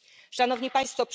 Szanowni Państwo!